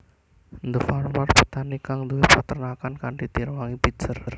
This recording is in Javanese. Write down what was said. The Farmer petani kang duwé peternakan kanthi direwangi Bitzer